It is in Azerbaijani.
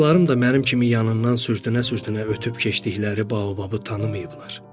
Dostlarım da mənim kimi yanından sürtünə-sürtünə ötüb keçdikləri baobabı tanımayıblar.